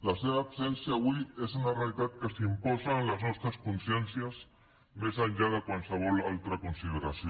la seva absència avui és una realitat que s’imposa en les nostres consciències més enllà de qualsevol altra consideració